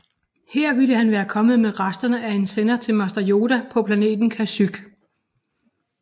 Her ville han være kommet med resterne af en sender til mester Yoda på planeten Kashyyyk